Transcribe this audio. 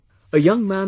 A young man Mr